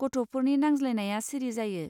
गथ'फोरनि नांज्लायनाया सिरि जायो.